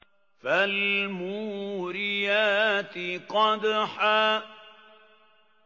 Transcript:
فَالْمُورِيَاتِ قَدْحًا